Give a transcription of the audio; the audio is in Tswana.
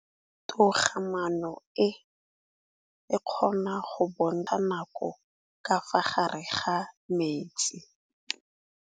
Toga-maanô e, e kgona go bontsha nakô ka fa gare ga metsi.